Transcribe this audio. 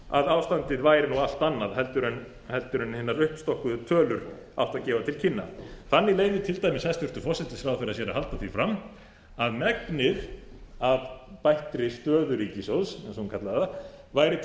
að ástandið væri allt annað heldur en hinar uppstokkuðu tölur áttu að gefa til kynna þannig leyfir til dæmis hæstvirtur forsætisráðherra sér að halda því fram að megnið af bættri stöðu ríkissjóðs eins og hún kallar það væri til